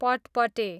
पटपटे